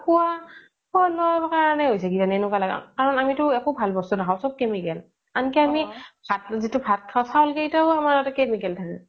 খুৱা, খুৱা লুৱাৰ কাৰনে হৈছে কিজানি এনেকুৱা লাগে কাৰনে আমিতো একো ভাল বস্ত নাখাও চ্'ব chemical আন্কি আমি জিতো ভাত খাও চাউল কেইতাতও chemical থাকে